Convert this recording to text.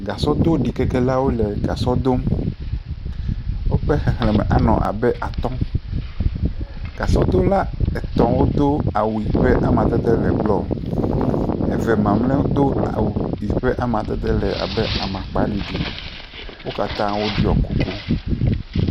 Gasɔdoɖikekelawo le gasɔ dom, woƒe xexlẽme anɔ abe atɔ̃, gasɔdola etɔ̃wo ƒe awu ƒe amadede le blɔ, eve mamlɛwo do awu yi ƒe amadede le abe amakpaɖiɖi, wo katã woɖɔ kuku.